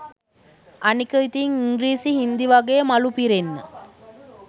අනික ඉතින් ඉංග්‍රීසි හින්දි වගේ මලු පිරෙන්න